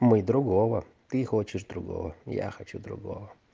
мы другого ты хочешь другого я хочу другого